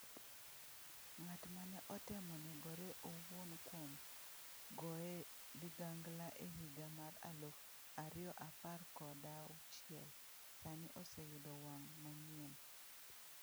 Ng’at mane otemo negore owuon kuom goye ligangla e higa mar aluf ariyoaparkodauchiel, sani oseyudo wang’ manyien